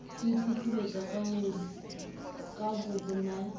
ho iphupuletsa ka bobona e